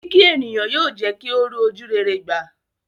Kíkí ènìyàn yóò jẹ́ kí ó rí ojúrere gbà.